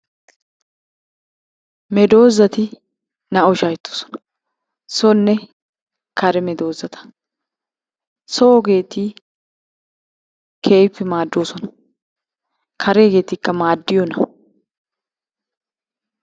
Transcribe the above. Medoossati naa"awu shaahettoosona. Sonne kare medossata. Soogeeti keehippe maaddoosona. Kareegeetikka maaddiyona?